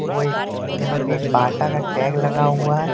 ओए यहां पे एक बाटा का टैग लगा हुआ है।